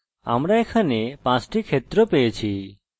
সুতরাং আমরা এখানে 5টি ক্ষেত্র পেয়েছি